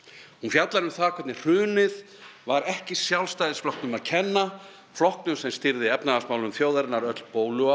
hún fjallar um það hvernig hrunið var ekki Sjálfstæðisflokknum að kenna flokknum sem stýrði efnahagsmálum þjóðarinnar öll